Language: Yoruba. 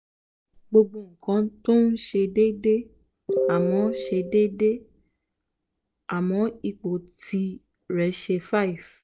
gbogbo ńkan tó ń se déédéé àmọ́ se déédéé àmọ́ ipò tirẹ̀ se five